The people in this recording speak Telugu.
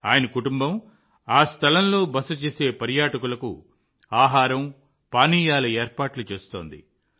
ఆయన కుటుంబం ఆ స్థలంలో బస చేసే పర్యాటకులకు ఆహారం పానీయాల ఏర్పాట్లు చేస్తుంది